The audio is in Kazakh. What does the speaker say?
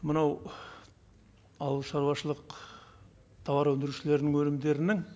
мынау ауыл шаруашылық тауар өндірушілердің өнімдерінің